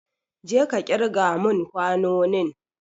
Jeka kirga mun kwanonin!